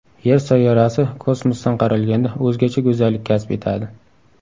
Yer sayyorasi kosmosdan qaralganda o‘zgacha go‘zallik kasb etadi.